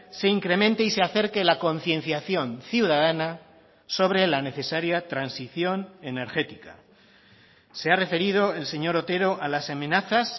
se incremente y se acerque la concienciación ciudadana sobre la necesaria transición energética se ha referido el señor otero a las amenazas